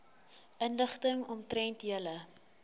inligting omtrent julle